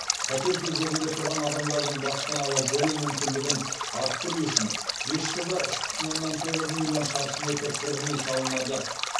пәтер кезегінде тұрған адамдардың баспаналы болу мүмкіндігін арттыру үшін бес жылда үш бүтін оннан тоғыз миллион шаршы метр тұрғын үй салынады